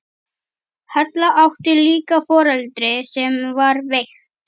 Halla átti líka foreldri sem var veikt.